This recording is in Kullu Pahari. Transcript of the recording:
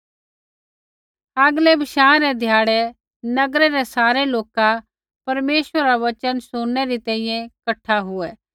आगलै बशाँ रे ध्याड़ै नगरै रै सारै लोका परमेश्वरा रा वचन शुणनै री तैंईंयैं कठा हुऐ